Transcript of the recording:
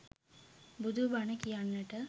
බුදු බණ කියන්නට